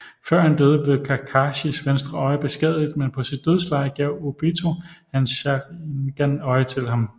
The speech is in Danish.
Før han døde blev Kakashis venstre øje beskadiget men på sit dødsleje gav Obito hans Sharingan øje til ham